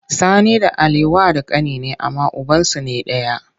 Sani da Ali wa da kani ne amma ubansu ne daya.